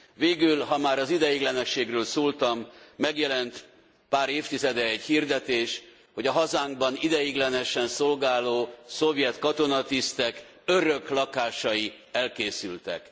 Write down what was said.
Végül, ha már az ideiglenességről szóltam, megjelent pár évtizede egy hirdetés, hogy a hazánkban ideiglenesen szolgáló szovjet katonatisztek öröklakásai elkészültek.